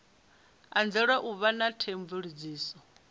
anzela u vha na theomveledziso